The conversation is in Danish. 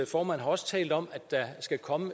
formand har også talt om at der skal komme